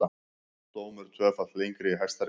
Dómur tvöfalt lengri í Hæstarétti